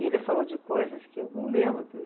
E ele falou de coisas que eu lembro.